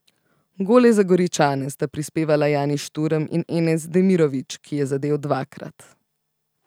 Gole za Goričane sta prispevala Jani Šturm in Enes Demirović, ki je zadel dvakrat.